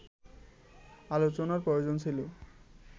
আলোচনার প্রয়োজন ছিল